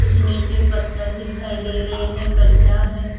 कुछ नीचे पत्थर दिखाई दे रहे हैं कचरा है।